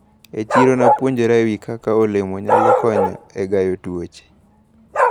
E chiro napuonjra ewi kaka olemo nyalo konyo e gayo tuoche.